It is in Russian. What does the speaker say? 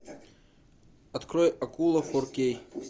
открой акула фор кей